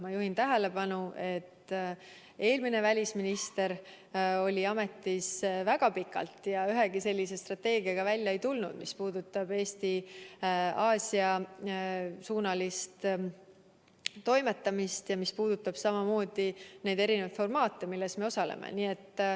Ma juhin tähelepanu, et eelmine välisminister oli ametis väga pikalt ja ei tulnud välja ühegi sellise strateegiaga, mis puudutaks Eesti Aasia-suunalist toimetamist ja mis puudutaks eri formaadis kohtumisi, millel me osaleme.